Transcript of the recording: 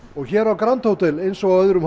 og hér á grand hótel eins og á öðrum